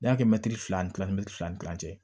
N'i y'a kɛ mɛtiri fila ni kila fila ni kilan cɛ